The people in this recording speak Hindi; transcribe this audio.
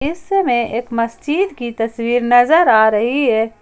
इस समय एक मस्जिद की तस्वीर नजर आ रही है।